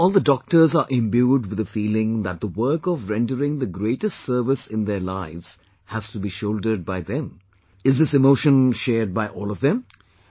But do all the doctors are imbued with the feeling that the work of rendering the greatest service in their lives has to be shouldered by them, is this emotion shared by all of them